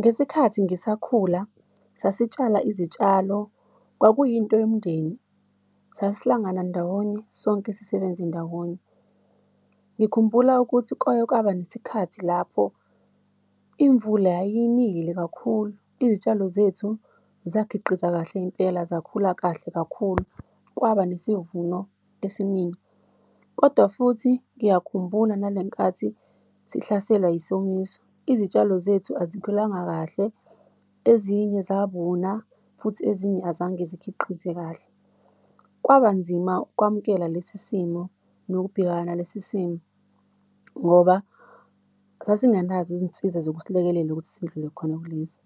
Ngesikhathi ngisakhula sasitshala izitshalo, kwakuyinto yomndeni, sasihlangana ndawonye, sonke sisebenze ndawonye. Ngikhumbula ukuthi kwake kwaba nesikhathi lapho imvula yayinile kakhulu, izitshalo zethu zakhiqiza kahle impela, zakhula kahle kakhulu. Kwaba nesivuno esiningi. Kodwa futhi ngiyakhumbula nalenkathi sihlaselwa yisomiso. Izitshalo zethu asikhulanga kahle, ezinye zabuna futhi ezinye azange zikhiqize kahle. Kwaba nzima ukwamukela lesi simo nokubhekana lesi simo ngoba sasingenazo izinsiza zokusilekelela ukuthi sidlule khona kulezi.